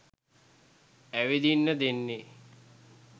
ඇවිදින්න දෙන්නේ.